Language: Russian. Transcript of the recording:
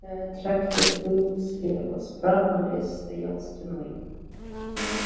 ээ трактир был слева справа лес стоял стеной